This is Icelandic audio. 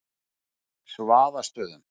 Svaðastöðum